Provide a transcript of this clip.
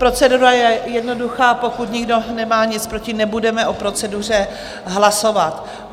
Procedura je jednoduchá, Pokud nemá nikdo nic proti, nebudeme o proceduře hlasovat.